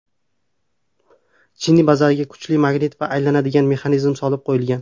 Chinni bazaga kuchli magnit va aylanadigan mexanizm solib qo‘yilgan.